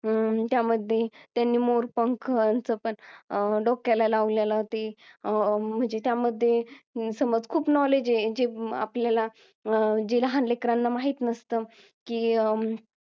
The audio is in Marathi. अं त्यामध्ये त्यांनी मोर पंखांचं पण डोक्याला लावलेलं ते म्हणजे त्या मध्ये समज खूप knowledge आहे जे आपल्याला जे लहान लेकरांना माहीत नसतं की अं